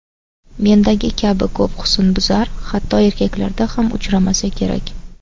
Mendagi kabi ko‘p husnbuzar hatto erkaklarda ham uchramasa kerak.